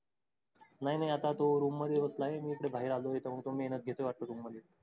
नाही नाही आता त्यो room मधे बसलाय मी हित बाहीर आलोय हित अस वाटतंय room मधे